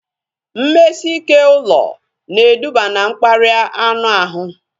Mmesike ụlọ na eduba na mkparịa anụ ahụ